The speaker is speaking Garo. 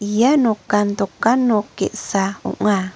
ia nokan dokan nok ge·sa ong·a.